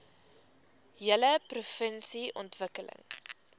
hele provinsie ontwikkel